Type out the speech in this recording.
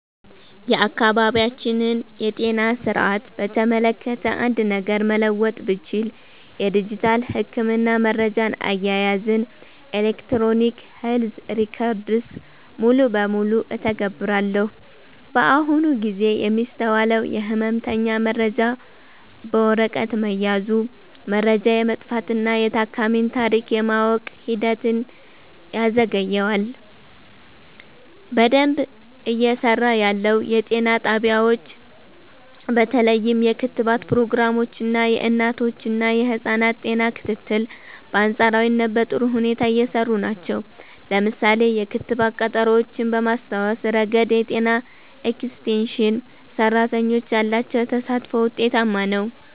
የአካባቢያችንን የጤና ሥርዓት በተመለከተ አንድ ነገር መለወጥ ብችል፣ የዲጂታል የሕክምና መረጃ አያያዝን (Electronic Health Records) ሙሉ በሙሉ እተገብራለሁ። በአሁኑ ጊዜ የሚስተዋለው የሕመምተኛ መረጃ በወረቀት መያዙ፣ መረጃ የመጥፋትና የታካሚን ታሪክ የማወቅ ሂደትን ያዘገየዋል። በደንብ እየሰራ ያለው፦ የጤና ጣቢያዎች በተለይም የክትባት ፕሮግራሞች እና የእናቶችና ህፃናት ጤና ክትትል በአንፃራዊነት በጥሩ ሁኔታ እየሰሩ ናቸው። ለምሳሌ፣ የክትባት ቀጠሮዎችን በማስታወስ ረገድ የጤና ኤክስቴንሽን ሰራተኞች ያላቸው ተሳትፎ ውጤታማ ነው።